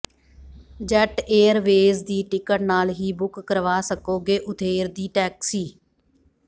jet airways ਦੀ ticket ਨਾਲ ਹੀ ਬੁੱਕ ਕਰਵਾ ਸਕੋਗੇ ਉਬੇਰ ਦੀ ਟੈਕਸੀ